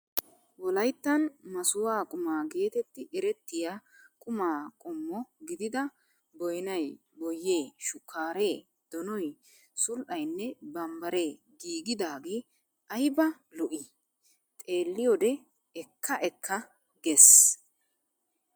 Wolayttan masuwaa quma geetetti erettiyaa quma qommo gididaa boyinayi, boyyee, shukkaareee, donoyi, sul''ayinne bambbaaree giigidaage ayibaa lo''ii. Xeelliyoodee ekka ekka ges.